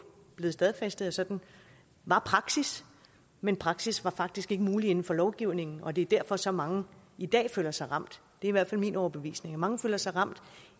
blevet stadfæstet at sådan var praksis men praksis var faktisk ikke mulig inden for lovgivningen og det er derfor så mange i dag føler sig ramt det i hvert fald min overbevisning mange føler sig ramt